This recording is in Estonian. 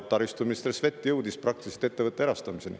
Taristuminister Svet jõudis praktiliselt ettevõtte erastamiseni.